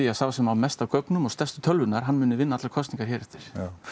að sá sem á mest af gögnum stærstu tölvurnar hann muni vinna allar kosningar hér eftir